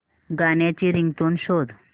गाण्याची रिंगटोन शोध